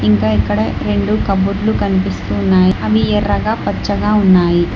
ఇంకా ఇక్కడ రెండు కప్బోర్డ్లు కనిపిస్తు ఉన్నాయి అవి ఎర్రగా పచ్చగా ఉన్నాయి.